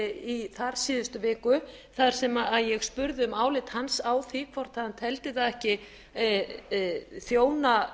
í þar síðustu viku þar sem ég spurði um álit hans á því hvort hann teldi það ekki þjóna